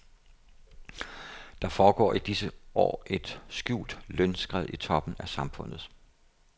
Der foregår i disse år et skjult lønskred i toppen af samfundet.